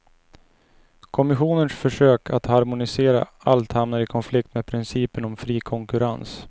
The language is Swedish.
Kommissionens försök att harmonisera allt hamnar i konflikt med principen om fri konkurrens.